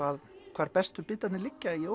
hvar bestu bitarnir liggja í